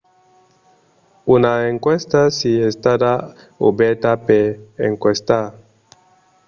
una enquèsta es estada obèrta per enquestar